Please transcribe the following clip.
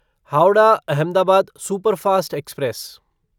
Howrah Ahmedabad superfast express